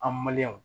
An